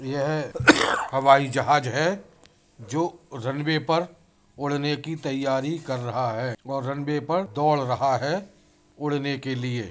यह हवाई जहाज है जो रनवे पर उड़ने की तैयारी कर रहा है और रनवे पर दोड़ रहा है उड़ने के लिए।